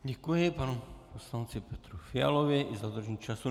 Děkuji panu poslanci Petru Fialovi i za dodržení času.